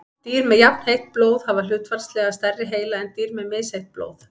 dýr með jafnheitt blóð hafa hlutfallslega stærri heila en dýr með misheitt blóð